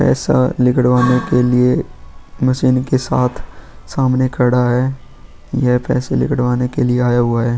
पैसा निकलवाने के लिए मशीन के साथ सामने खड़ा है ये पैसे निकलवाने के लिए आया हुआ है।